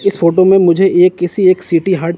इस फोटो में मुझे एक किसी एक सीटी हर्ट --